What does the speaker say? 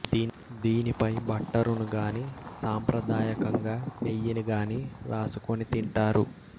దీనిపై బట్టరును గానీ సాంప్రదాయకంగా నెయ్యిని గానీ రాసుకుని తింటారు